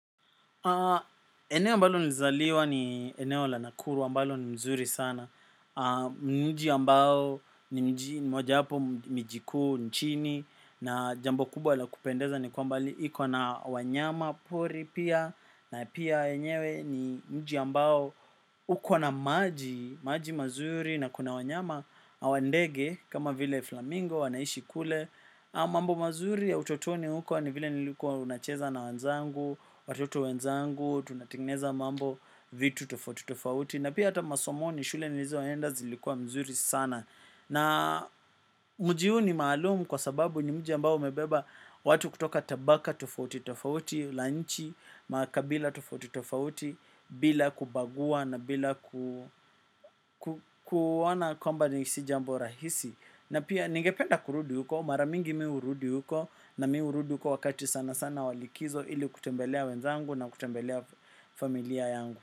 Eneo ambalo nizaliwa ni eneo la nakuru ambalo ni nzuri sana. Ni mji ambao ni mji mojawapo miji kuu nchini na jambo kubwa la kupendeza ni kwamba iko na wanyama pori pia na pia wenyewe ni mji ambao uko na maji mazuri na kuna wanyama. Na ndege kama vile flamingo wanaishi kule. Mambo mazuri ya utotoni huko ni vile nilikuwa nacheza na wenzangu, watoto wenzangu, tunatengeneza mambo vitu tofauti tofauti. Na pia hata masomoni shule nilizoenda zilikuwa mzuri sana. Na mji huu ni maalumu kwa sababu ni mji ambao umebeba watu kutoka tabaka tofauti tofauti, la nchi, makabila tofauti tofauti bila kubagua na bila kuona kwamba ni si jambo rahisi. Na pia ningependa kurudi huko, mara mingi mi hurudi huko na mi hurudi huko wakati sana sana wa likizo ili kutembelea wenzangu na kutembelea familia yangu.